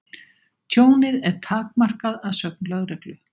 Tjónið er takmarkað að sögn lögreglu